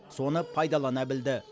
соны пайдалана білді